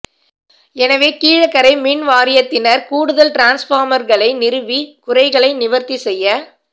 எனவே கீழக்கரை மின்வாரியத்தினர் கூடுதல் டிரான்ஸ்பார்மர்களை நிறுவி குறைகளை நிவர்த்தி செய்ய